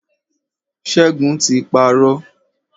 Ṣẹ́gun ti parọ́.